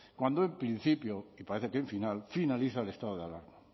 cuando en principio y parece que en final finaliza el estado de alarma